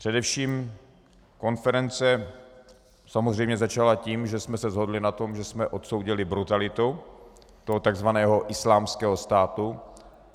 Především konference samozřejmě začala tím, že jsme se shodli na tom, že jsme odsoudili brutalitu toho takzvaného Islámského státu.